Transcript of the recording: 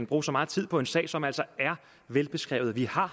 bruge så meget tid på en sag som altså er velbeskrevet vi har